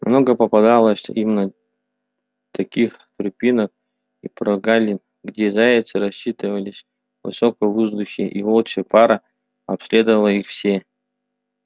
много попадалось им таких тропинок и прогалин где зайцы раскачивались высоко в воздухе и волчья пара обследовала их все